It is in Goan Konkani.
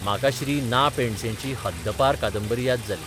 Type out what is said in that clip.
म्हाका श्री ना पेंडसेची 'हद्दपार 'कादंबरी याद जाली.